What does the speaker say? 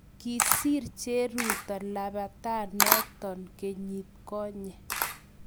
kisir cheruto lapatanoto kenyit konye